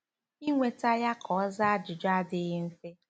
Inweta ya ka ọ zaa ajụjụ adịghị mfe.